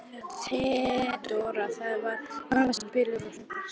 THEODÓRA: Það var norðvestan bylur og hörkufrost.